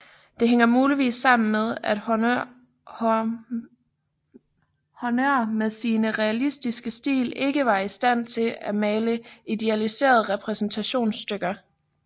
Det hænger muligvis sammen med at Hörner med sin realistiske stil ikke var i stand til at male idealiserede repræsentationsstykker